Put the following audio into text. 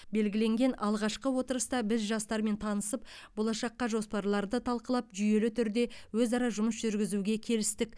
белгіленген алғашқы отырыста біз жастармен танысып болашаққа жоспарларды талқылап жүйелі түрде өзара жұмыс жүргізуге келістік